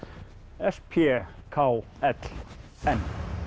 l b k l m